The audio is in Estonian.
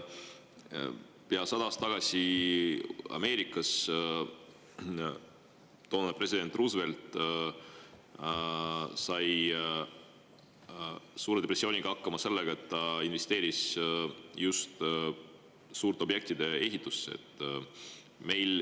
Pea sada aastat tagasi sai Ameerika toonane president Roosevelt suure depressiooniga hakkama selle abil, et ta investeeris just suurte objektide ehitusse.